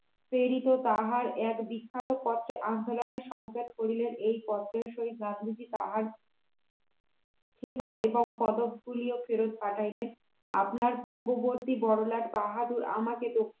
তিনি তাহার এক বিখ্যাত পত্রে আন্দোলনের সংক্ষেপ করিলেন এই পত্রের সহিত গান্ধীজি তাহার খেতাব এবং পদকগুলিও ফেরত পাঠাইলেন আপনার পূর্ববর্তী বড়লাট বাহাদুর আমাকে